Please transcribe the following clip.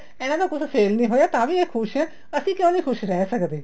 ਇਹਨਾ ਨੂੰ ਕੁੱਛ sale ਨਹੀਂ ਹੋਇਆ ਤਾਂ ਵੀ ਇਹ ਖ਼ੁਸ਼ ਹੈ ਅਸੀਂ ਕਿਉ ਨਹੀਂ ਖ਼ੁਸ਼ ਰਹੇ ਸਕਦੇ